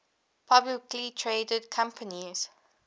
publicly traded companies